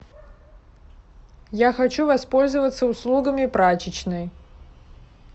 я хочу воспользоваться услугами прачечной